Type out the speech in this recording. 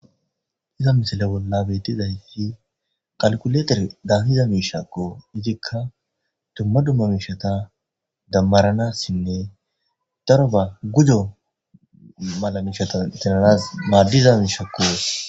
Hayssa misile bolla beettizayssi kalikuleteredan haniza miishshakko. Izikka dumma dumma miishshata dammaranasinne daroba gujo mala miishsha intinanaas maadiza miishshakko.